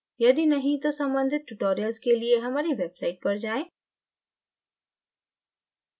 यदि नहीं तो सम्बंधित tutorials के लिए हमारी website पर जाएँ